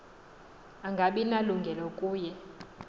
angabi nalungelo kuye